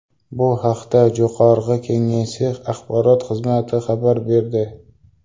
Bu haqda Jo‘qorg‘i Kengesi axborot xizmati xabar berdi .